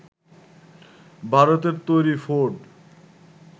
ভারতে তৈরি ফোর্ড